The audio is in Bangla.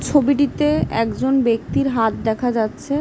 ছবিটিতে একজন ব্যক্তির হাত দেখা যাচ্ছে।